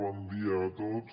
bon dia a tots